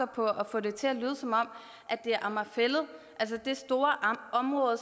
på at få det til at lyde som om det er amager fælled altså det store område